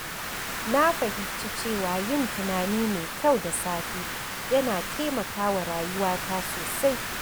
Na fahimci cewa yin tunani mai kyau da safe yana taimakawa rayuwata sosai.